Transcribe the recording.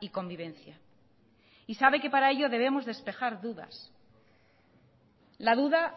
y convivencia y sabe que para ello debemos despejar dudas la duda